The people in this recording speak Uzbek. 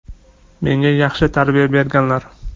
Menga yaxshi tarbiya berganlar.